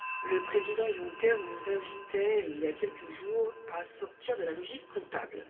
le président Juncker nous invitait, il y a quelques jours, à sortir de la logique comptable.